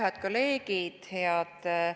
Head kolleegid!